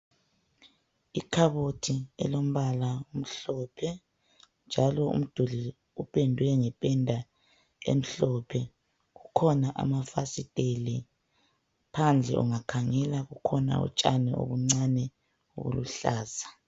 Ikhabothii elombala omhlophe njalo umduli opendwe emhlophe kukhona amafasitele phandle ungakhangela kukhona utshani obuncane obuluhlaza